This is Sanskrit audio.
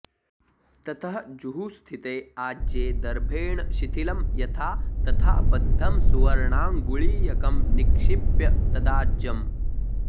ततः जुहूस्थिते आज्ये दर्भेण शिथिलं यथा तथा बद्धं सुवर्णाङ्गुळीयकं निक्षिप्य तदाज्यं